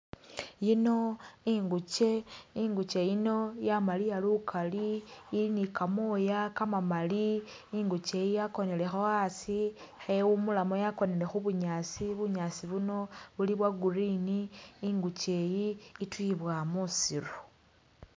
Iyino inguche, inguche iyino yamaliya lukali, ili ne kamoya kamakali, inguche iyi yakonelekho asi ikhewumulamo yakonele mubunyaasi, bunyaasi buno buli bwo green, inguche iyi ituyibwa musiru.